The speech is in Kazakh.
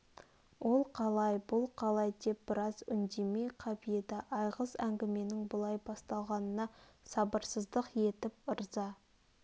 ол қалай бұл қалай деп біраз үндемей қап еді айғыз әңгіменің бұлай басталғанына сабырсыздық етіп ырза